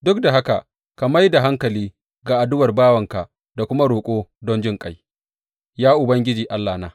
Duk da haka ka mai da hankali ga addu’ar bawanka da kuma roƙo don jinƙai, ya Ubangiji, Allahna.